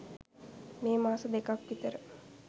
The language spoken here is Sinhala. මේ මාස දෙකක් විතර